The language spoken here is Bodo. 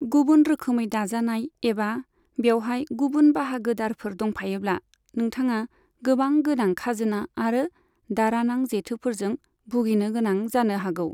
गुबुन रोखोमै दाजानाय एबा बेवहाय गुबुन बाहागोदारफोर दंफायोब्ला, नोंथाङा गोबां गोनां खाजोना आरो दारानां जेथोफोरजों भुगिनो गोनां जानो हागौ।